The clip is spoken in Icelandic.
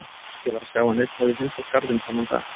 Ekki var að sjá að neinn hefði heimsótt garðinn þennan dag.